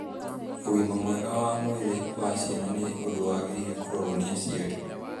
Ũgima mwega wa mwĩrĩ wa ciana nĩ ũndũ wagĩrĩire kũrorwo nĩ aciari